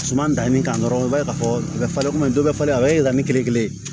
Suman danni kan dɔrɔn i b'a ye k'a fɔ a bɛ falen kɔmi dɔ bɛ falen a bɛ yɛlɛma ni kiiri kelen ye